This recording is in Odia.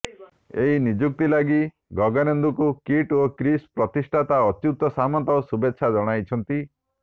ଏହି ନିଯୁକ୍ତି ଲାଗି ଗଗନେନ୍ଦୁଙ୍କୁ କିଟ୍ ଓ କିସ୍ର ପ୍ରତିଷ୍ଠାତା ଅଚ୍ୟୁତ ସାମନ୍ତ ଶୁଭେଚ୍ଛା ଜଣାଇଛନ୍ତି